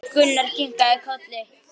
Gunnar kinkaði kolli.